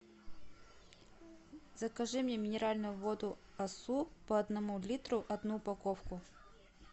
закажи мне минеральную воду асу по одному литру одну упаковку